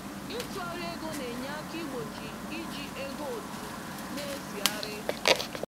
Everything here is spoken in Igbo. Ịtụgharị ego na-enye aka igbochi iji ego òtù n’ezieghari.